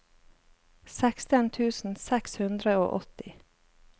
seksten tusen seks hundre og åtti